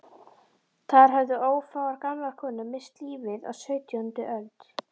Þar höfðu ófáar gamlar konur misst lífið á sautjándu öld.